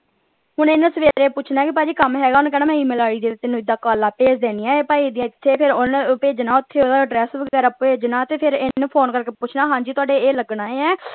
ਹੁਣ ਇਹਨੇ ਸਵੇਰੇ ਪੁੱਛਣਾ ਹੈ ਕਿ ਭਾਜੀ ਕੰਮ ਹੈਗਾ ਓਹਨੇ ਕਹਿਣਾ ਮੈਂ E-mail ਆਈ ਜਿਹਦੇ ਤੇ ਕਾਲਾਂ ਭੇਜ ਦੇਣੀਆਂ ਆ ਭਾਜੀ ਦੀਆਂ ਇਥੇ ਤੇ ਓਹਨਾ ਭੇਜਣਾ ਓਥੇ ਓਹਦਾ ਐਡਰੈੱਸ ਵਗੈਰਾ ਭੇਜਣਾ ਤੇ ਹਨ ਫੋਨ ਕਰ ਕੇ ਪੁੱਛਣਾ ਹਾਂਜੀ ਤੁਹਾਡੇ ਇਹ ਲੱਗਣਾ ਆ।